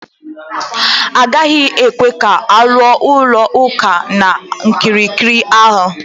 Adịghị ekwe ka aluo ụlọ ụka na okirikiri ahụ